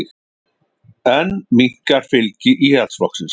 Enn minnkar fylgi Íhaldsflokksins